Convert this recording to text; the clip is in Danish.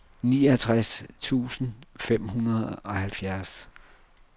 niogtres tusind fem hundrede og halvfjerds